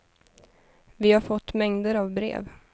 Vi har fått mängder av brev.